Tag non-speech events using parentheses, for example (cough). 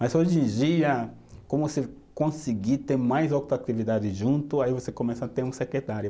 Mas hoje em dia, como você conseguir ter mais (unintelligible) junto, aí você começa a ter um secretário.